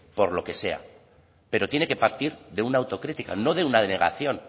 por lo que sea pero tiene que partir de una autocrítica no de una denegación